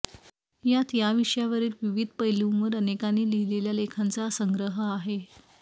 यात या विषयावरील विविध पैलुंवर अनेकांनी लिहिलेल्या लेखाचा संग्रह आहे